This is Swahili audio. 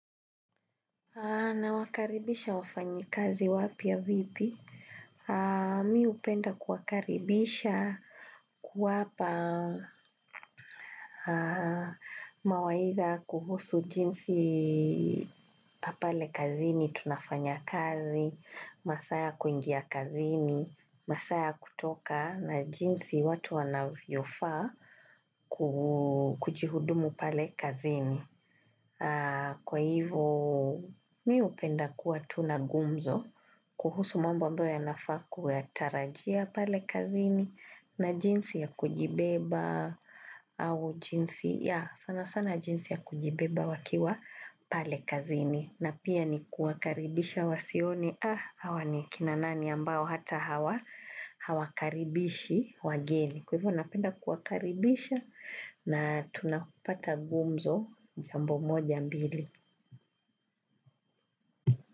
Na wakaribisha wafanyikazi wapya vipi? Mimi hupenda kuwakaribisha kuwapa mawaidha kuhusu jinsi pale kazini, tunafanya kazi, masaa ya kuingia kazini, masaa ya kutoka na jinsi watu wanavyo faa kujihudumu pale kazini. Kwa hivyo mimi hupenda kuwa tu na ngumzo kuhusu mambo ambayo yanafaa kuya tarajia pale kazini na jinsi ya kujibeba au jinsi ya, sana sana jinsi ya kujibeba wakiwa pale kazini. Na pia ni kuwakaribisha wasione hawa ni kina nani ambao hata hawakaribishi wageni. Kwa hivyo napenda kuwakaribisha na tunapata gumzo, jambo moja mbili.